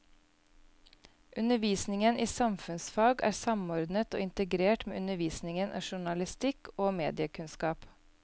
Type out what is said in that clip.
Undervisningen i samfunnsfag er samordnet og integrert med undervisningen i journalistikk og mediekunnskap.